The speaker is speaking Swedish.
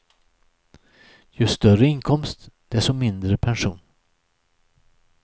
Ju större inkomst, desto mindre pension.